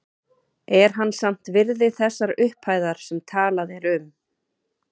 Er hann samt virði þessar upphæðar sem talað er um?